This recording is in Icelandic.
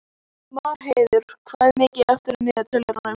Marheiður, hvað er mikið eftir af niðurteljaranum?